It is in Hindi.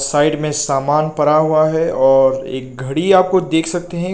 साइड में सामान पड़ा हुआ है और एक घड़ी आपको देख सकते हैं।